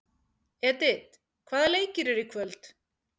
Edith, hvaða leikir eru í kvöld?